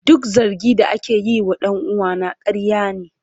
Duk zargin da ake yi wa dan uwana ƙarya ne.